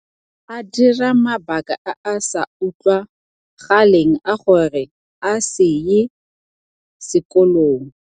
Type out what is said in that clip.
A dira mabaka a a sa utlwa galeng a gore a se ye sekolong.